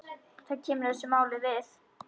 Það kemur þessu máli við.